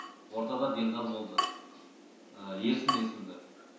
ортада делдал болды ерсін есімді